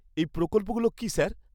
-এই প্রকল্পগুলো কী স্যার?